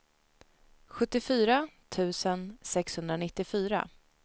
sjuttiofyra tusen sexhundranittiofyra